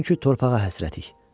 Çünki torpağa həsrətik.